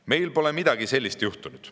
Meil pole midagi sellist juhtunud.